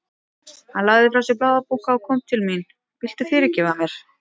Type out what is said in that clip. Hann lagði frá sér blaðabunka og kom til mín. Viltu fyrirgefa mér?